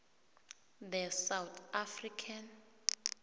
the south african